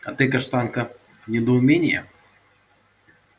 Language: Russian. а ты каштанка недоумение